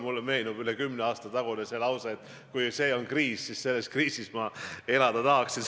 Mulle meenub üle kümne aasta tagune lause, et kui see on kriis, siis selles kriisis ma elada tahaksingi.